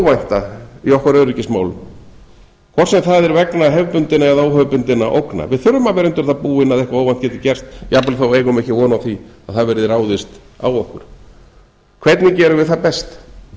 hið óvænta í okkar öryggismálum hvort sem það er vegna hefðbundinna eða óhefðbundinna ógna við þurfum að vera undir það búin að eitthvað óvænt geti gerst jafnvel þó við eigum ekki von á að það verði ráðist á okkur hvernig gerum við það best